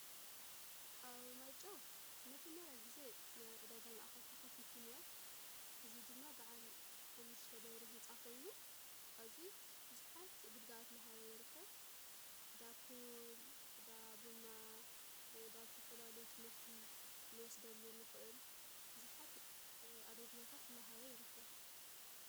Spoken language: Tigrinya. ኣብ ማይጨው መጀመርያ ጊዜ ናይ ዕደጋ ማእኸል ተኸፊቱን እዮ፡፡ እዙይ ድማ ብዓል ሓሙሽተ ደብሪ ሕንጻ ኾይኑ ኸዚ ብዙሓት ግልጋሎት እላሃበ ይርከብ፡፡ ዳፑል፣ ዳ ቦንዳ ዳ ልተፈላለየ ትምህርቲ ንወስደሉ ንኽእል ብዙሓት ኣገልግሎታት ላሃበ ይርከብ፡፡